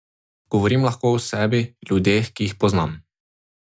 Govorim lahko o sebi, ljudeh, ki jih poznam.